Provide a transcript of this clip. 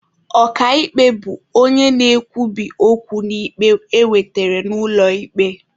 Ọka ikpe bụ onye na-ekwubi okwu n'ikpe ewetere n'ụlọ ikpe.